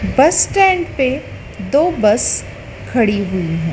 बस स्टैंड पर दो बस खड़ी हुई है।